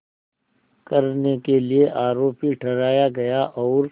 करने के लिए आरोपी ठहराया गया और